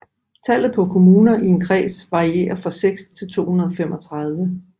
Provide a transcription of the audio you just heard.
Tallet på kommuner i en kreds varierer fra 6 til 235